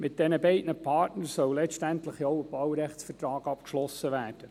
Mit diesen beiden Partnern soll letztendlich der Baurechtsvertrag abgeschlossen werden.